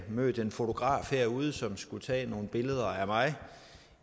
mødt en fotograf herude som skulle tage nogle billeder af mig